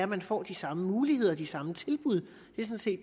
man får de samme muligheder og de samme tilbud